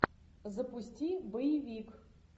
запусти боевик